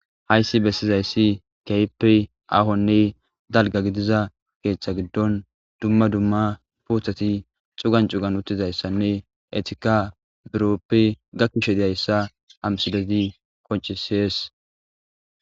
hayssi bessizayssi keype ahonne dalga gidiza keeththa giddon dumma dumma puothati xugan cugan uttizayssanne etika birooppi gakkishe diayssa hamsidezi koccisees